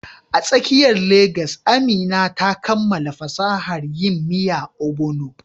A tsakiyar Legas, Amina ta kammala fasahar yin miya Ogbono.